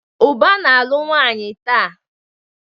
Uba na-alụ nwanyi taa.